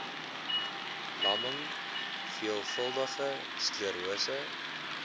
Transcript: lamming veelvuldige sklerose